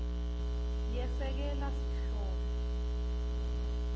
yesekela sihloko